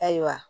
Ayiwa